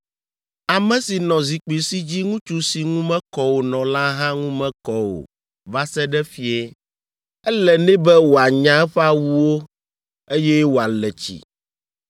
Ame si nɔ zikpui si dzi ŋutsu si ŋu mekɔ o nɔ la hã ŋu mekɔ o va se ɖe fiẽ. Ele nɛ be wòanya eƒe awuwo, eye wòale tsi.